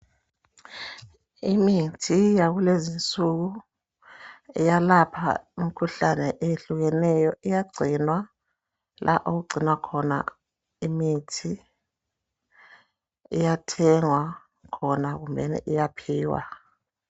Imithi yakulezi nsuku iyalapha imikhuhlane eyehlukeneyo. Iyagcinwa la okugcinwa khona imithi .Iyathengwa khona kumbeni iyaphiwa.